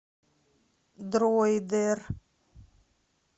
дроидер